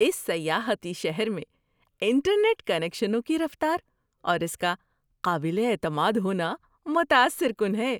اس سیاحتی شہر میں انٹرنیٹ کنکشنوں کی رفتار اور اس کا قابل اعتماد ہونا متاثر کن ہے۔